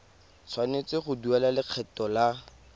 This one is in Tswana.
tshwanetse go duela lekgetho la